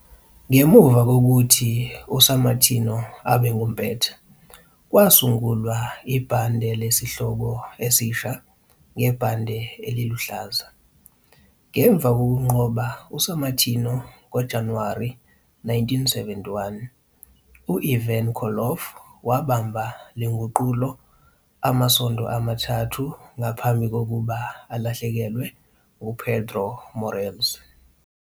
Ngemuva kokuthi u-Sammartino abe ngumpetha, kwasungulwa ibhande lesihloko esisha ngebhande eliluhlaza. Ngemva kokunqoba u-Sammartino ngoJanuwari 1971, u-Ivan Koloff wabamba le nguqulo amasonto amathathu ngaphambi kokuba alahlekelwe nguPedro Morales.